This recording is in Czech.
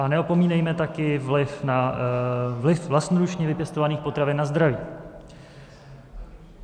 A neopomínejme také vliv vlastnoručně vypěstovaných potravin na zdraví.